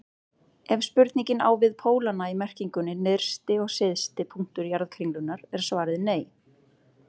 Ef spurningin á við pólana í merkingunni nyrsti og syðsti punktur jarðkringlunnar er svarið nei.